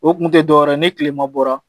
O kun tɛ dɔwɛrɛ ye ni tilema bɔra